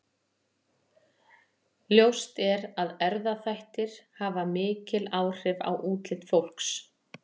Ljóst er að erfðaþættir hafa mikil áhrif á útlit fólks.